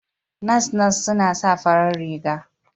Nas-nas suna sa farar riga.